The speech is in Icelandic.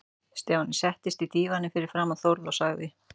Stjáni settist á dívaninn fyrir framan Þórð og sagði